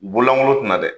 Bololangolo tina dɛ